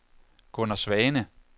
Gunner Svane